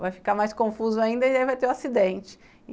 vai ficar mais confuso ainda e vai ter o acidente.